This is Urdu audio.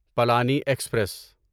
پلانی ایکسپریس